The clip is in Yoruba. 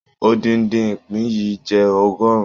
Odindin ìpín yìí jẹ ọgọrùn.